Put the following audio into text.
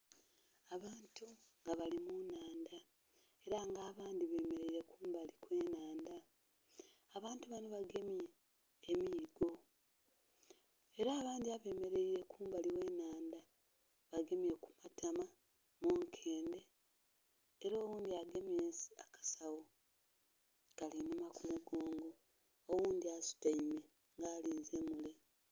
Abantu nga bali mu nhandha era nga abandhi bemereire kumbali kwe nhandha abantu banho bagemye emiigo era abandhi abemereire kumbali ghe nhandha bagemye ku matama, munkendhe era oghundhi agemye akasagho Kali innhuma ku mu gonge oghundhi asutaime alinze mule.